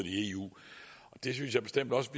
i eu det synes jeg bestemt også